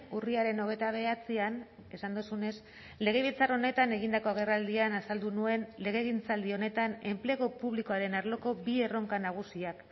urriaren hogeita bederatzian esan duzunez legebiltzar honetan egindako agerraldian azaldu nuen legegintzaldi honetan enplegu publikoaren arloko bi erronka nagusiak